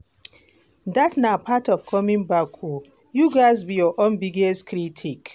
dat na part of coming back o; you gatz be your biggest critic.